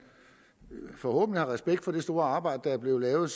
forhåbentlig har respekt for det store arbejde der er blevet lavet